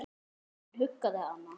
Hann huggaði hana.